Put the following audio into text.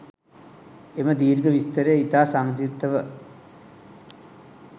එම දීර්ඝ විස්තරය ඉතා සංක්‍ෂිප්තව